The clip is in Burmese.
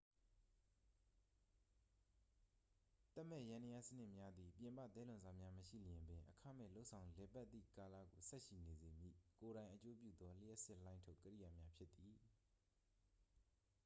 သက်မဲ့ယန္တရားစနစ်များသည် ပြင်ပသဲလွန်စများမရှိလျှင်ပင် အခမဲ့လုပ်ဆောင်လည်ပတ်သည့်ကာလကို ဆက်ရှိနေစေမည့် ကိုယ်တိုင်အကျိုးပြုသော လျှပ်စစ်လှိုင်းထုတ် ကိရိယာများဖြစ်သည်